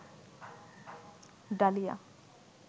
dahlia